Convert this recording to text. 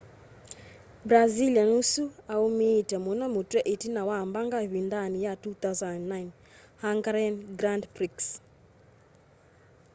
brazilian ũsu aũmĩĩte mũno mũtwe ĩtina wa mbanga ĩvĩndanĩ ya 2009 hungarian grand prix